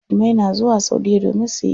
Musulmai na zuwa saudiya domin suyi ibada.